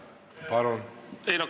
Palun!